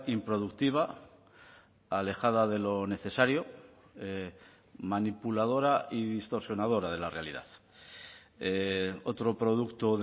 improductiva alejada de lo necesario manipuladora y distorsionadora de la realidad otro producto